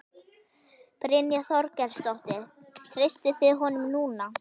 Brynja Þorgeirsdóttir: Treystið þið honum núna?